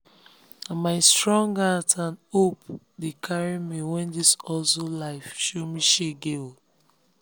na my strong heart and hope dey carry me when this hustle life show me shege.